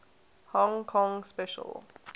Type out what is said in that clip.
hong kong special